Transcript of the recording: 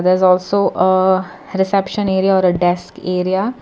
there is also a reception are a disc area.